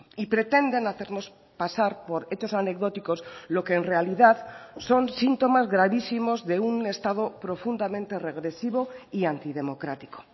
y pretenden hacernos pasar por hechos anecdóticos lo que en realidad son síntomas gravísimos de un estado profundamente regresivo y antidemocrático